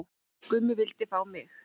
Gummi vildi fá mig